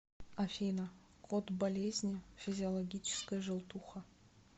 афина код болезни физиологическая желтуха